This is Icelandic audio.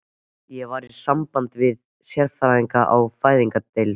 Ég var í sambandi við sérfræðinga á fæðingardeild